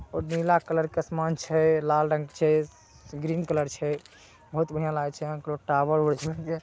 और नीला कलर के आसमान छैय। लाल रंग छै ग्रीन कलर छै। बहुत बढ़िया लागे छै। यहाँकरो टावर - वावर जे---